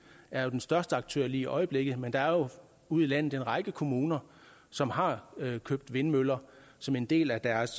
er jo den største aktør lige i øjeblikket men der er ude i landet en række kommuner som har købt vindmøller som en del af deres